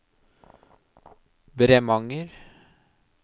Bremanger